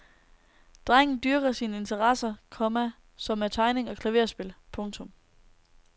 Drengen dyrker sine interesser, komma som er tegning og klaverspil. punktum